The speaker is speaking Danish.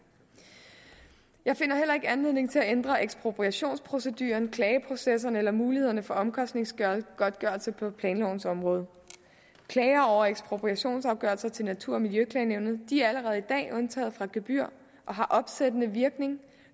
jeg finder heller ikke anledning til at ændre ekspropriationsproceduren klageprocesserne eller mulighederne for omkostningsgodtgørelse på planlovens område klager over ekspropriationsafgørelser til natur og miljøklagenævnet er allerede i dag undtaget fra gebyr og har opsættende virkning